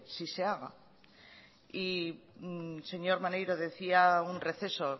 sí se haga y señor maneiro decía un receso